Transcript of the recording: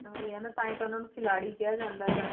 ਉਹੀ ਹੈ ਨਾ ਤਾਂ ਹੀ ਤਾਂ ਉਹਨਾਂ ਨੂੰ ਖਿਲਾਡੀ ਕਿਹਾ ਜਾਂਦਾ ਹੈ ਨਾਲੇ।